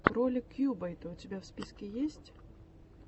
ролик кьюбайта у тебя в списке есть